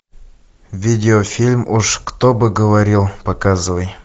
видеофильм уж кто бы говорил показывай